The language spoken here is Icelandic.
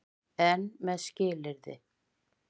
EN MEÐ SKILYRÐI.